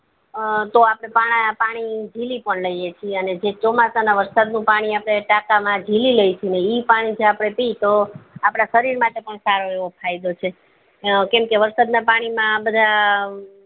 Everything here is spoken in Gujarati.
અ તો આપડે પાણી જીલી પણ લઈએ છીએ અને જે ચોમાસાના ના વરસાદ નું પાણી આપડે તાકા માં જીલી લઈએ છીએ ને ઈ પાણી જો આપડે પીએ તો આપદા શરીર માટે પણ સારું એવું ફાયદો છે કેમ કે વરસાદ ના પાણી માં આ બધા